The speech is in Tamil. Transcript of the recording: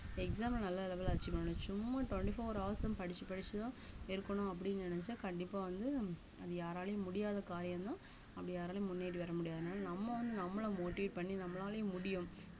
exam அ நல்ல level ல achieve பண்ணணும் சும்மா twenty four hours ம் படிச்சு படிச்சுதான் இருக்கணும் அப்படின்னு நினைச்சா கண்டிப்பா வந்து அது யாராலயும் முடியாத காரியம்தான் அப்படி யாராலயும் முன்னேறி வர முடியாது அதனால நம்ம வந்து நம்மள motivate பண்ணி நம்மளாலயும் முடியும்